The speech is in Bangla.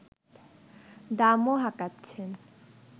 দামও হাঁকাচ্ছেন